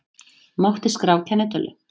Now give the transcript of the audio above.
Mátti skrá kennitölu